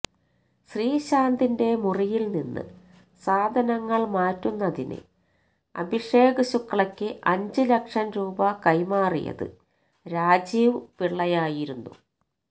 ശ്രീശാന്തിന്റെ മുറിയില് നിന്ന് സാധനങ്ങള് മാറ്റുന്നതിന് അഭിഷേക് ശുക്ലക്ക് അഞ്ച് ലക്ഷം രൂപ കൈമാറിയത് രാജീവ് പിളളയായിരുന്നു